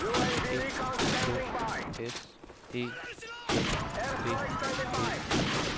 E K S E N D E